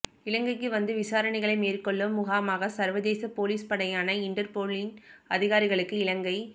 இலங்கைக்கு வந்து விசாரணைகளை மேற்கொள்ளும் முகமாக சர்வதேச பொலிஸ் படையான இன்டர்போலின் அதிகாரிகளுக்கு இலங்கை